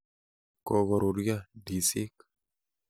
Kokoruryo ndizik.